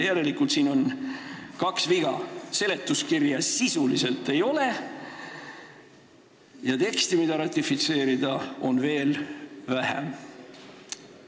Järelikult siin on kaks viga: seletuskirja sisuliselt ei ole ja teksti, mida ratifitseerida, on veel vähem.